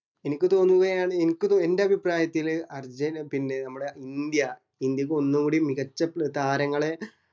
എനിക്ക് തോന്നുന്നു ഏർ എൻ്റെ അഭിപ്രായത്തില് അർജൻ പിന്നെ നമ്മടെ ഇന്ത്യ ഇന്ത്യക്ക് ഒന്നൂടി മികച്ച താരങ്ങളെ